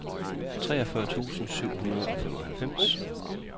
treogfyrre tusind syv hundrede og femoghalvfems